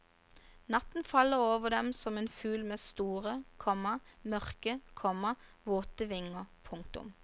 Natten faller over dem som en fugl med store, komma mørke, komma våte vinger. punktum